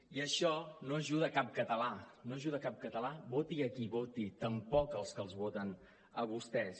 i això no ajuda cap català no ajuda cap català voti a qui voti tampoc als que els voten a vostès